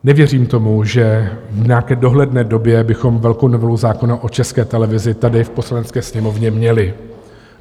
Nevěřím tomu, že v nějaké dohledné době bychom velkou novelu zákona o České televizi tady v Poslanecké sněmovně měli.